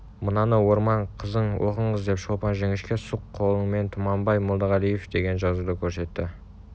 мынаны орман қызыноқыңыз деп шолпан жіңішке сұқ қолымен тұманбай молдағалиевдеген жазуды көрсетті